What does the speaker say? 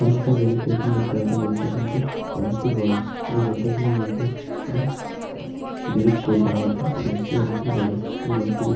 সামনে একটা rail station দেখতে পাচ্ছি। রেল স্টেশন -টি অনেকটি বড়। এবং রেল স্টেশনের -এর মধ্যে একটা ব্রিজ করে দেয়া হয়েছে। ব্রিজ -টি অনেকটি বড়ো। ব্রীজ -টির--